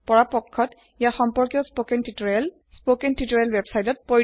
পৰাপক্ষ্ ৎ সম্পৰ্কিয় স্পকেন তিওতৰিয়েলৰ স্পোকেন টিউটৰিয়েল ওয়েবসাইট